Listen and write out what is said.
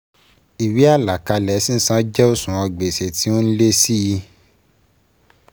Ìwé àlàkalẹ̀ sísan jẹ́ òṣùwọ̀n gbèsè tí ó n lé sí í